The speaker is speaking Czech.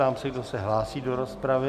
Ptám se, kdo se hlásí do rozpravy.